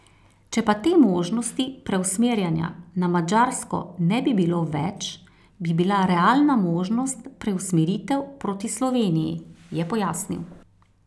Če pa te možnosti preusmerjanja na Madžarsko ne bi bilo več, bi bila realna možnost preusmeritev proti Sloveniji, je pojasnil.